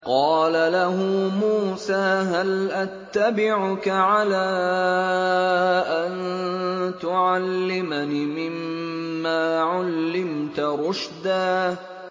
قَالَ لَهُ مُوسَىٰ هَلْ أَتَّبِعُكَ عَلَىٰ أَن تُعَلِّمَنِ مِمَّا عُلِّمْتَ رُشْدًا